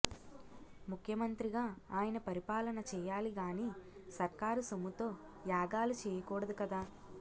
ముఖ్యమంత్రిగా ఆయన పరిపాలన చేయాలిగాని సర్కారు సొమ్ముతో యాగాలు చేయకూడదు కదా